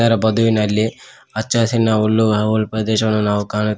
ಲ ಬದುವಿನಲ್ಲಿ ಹಚ್ಚ ಹಸಿರಿನ ಹುಲ್ಲು ಆ ಹುಲ್ ಪ್ರದೇಶವನ್ನು ನಾವು ಕಾಣು.